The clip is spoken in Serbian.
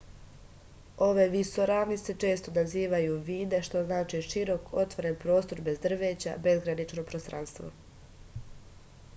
ove visoravni se često nazivaju vide što znači širok otvoren prostor bez drveća bezgranično prostranstvo